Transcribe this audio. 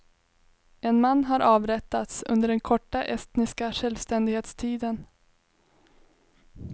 En man har avrättats under den korta estniska självständighetstiden.